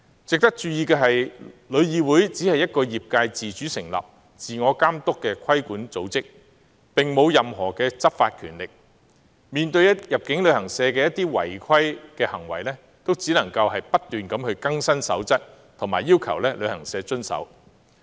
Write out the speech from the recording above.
值得注意的是，旅議會只是一個由業界自主成立、自我監督的規管組織，並無任何執法權力，面對入境旅行社的一些違規行為，也只能夠不斷更新守則，並要求旅行社遵守。